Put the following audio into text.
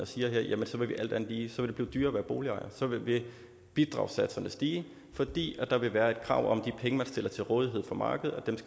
siger her jamen så vil det alt andet lige blive dyrere at være boligejer så vil bidragssatserne stige fordi der vil være et krav om at de penge man stiller til rådighed for markedet